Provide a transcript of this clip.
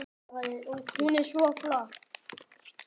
Hún er svo flott!